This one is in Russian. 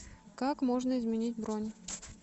как можно изменить бронь